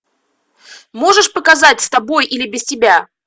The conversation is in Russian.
можешь показать с тобой или без тебя